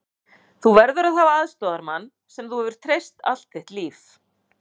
Þú verður að hafa aðstoðarmann sem þú hefur treyst allt þitt líf.